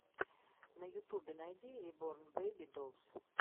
на ютубе найди реборн бэйби долс